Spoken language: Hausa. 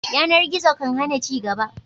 Yanar gizo kan hana ci gaba